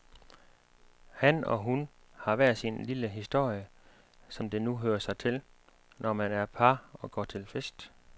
Han og hun har hver sin lille historie, som det nu hører sig til, når man er par og går til fest.